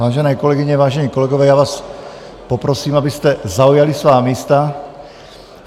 Vážené kolegyně, vážení kolegové, já vás poprosím, abyste zaujali svá místa.